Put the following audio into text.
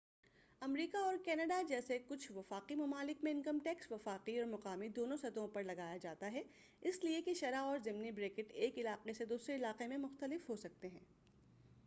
امریکہ اور کناڈا جیسے کچھ وفاقی ممالک میں انکم ٹیکس وفاقی اور مقامی دونوں سطحوں پر لگایا جاتا ہے اس لیے اس کی شرح اور ضمنی بریکٹ ایک علاقہ سے دوسرے علاقے میں مختلف ہوسکتے ہیں